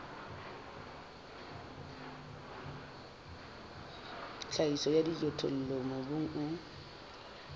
tlhahiso ya dijothollo mobung o